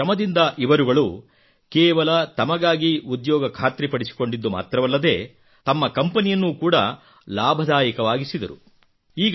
ತಮ್ಮ ಶ್ರಮದಿಂದ ಇವರುಗಳು ಕೇವಲ ತಮಗಾಗಿ ಉದ್ಯೋಗ ಖಾತ್ರಿ ಪಡಿಸಿಕೊಂಡಿದ್ದು ಮಾತ್ರವಲ್ಲದೇ ತಮ್ಮ ಕಂಪೆನಿಯನ್ನು ಕೂಡಾ ಲಾಭದಾಯಕವಾಗಿಸಿದರು